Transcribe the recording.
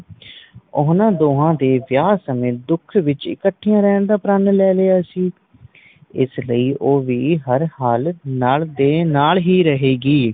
ਓਹਨਾ ਦੋਵਾਂ ਦੇ ਵਿਆਹ ਸਮੇ ਦੁੱਖ ਵਿਚ ਇਕੱਠਿਆਂ ਰਹਿਣ ਦਾ ਪ੍ਰਣ ਲੈ ਲਿਆ ਸੀ ਇਸ ਲਈ ਉਹ ਵੀ ਹਰ ਹਲਾਤ ਨੱਲ ਦੇ ਨਾਲ ਹੀ ਰਹੇਗੀ